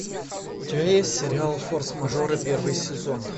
у тебя есть сериал форс мажоры первый сезон